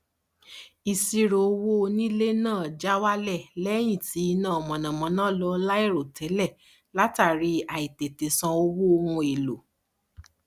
ìṣírò owó onílé náà já wálẹ lẹyìn tí iná mànàmáná lọ láìròtélè látàrí àìtètè san owó ohun èlò